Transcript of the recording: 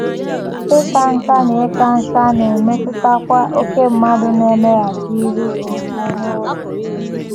Ịka nká na Ịka nká na - emetụtakwa ókè mmadụ na - emeghachiru omume n’oge.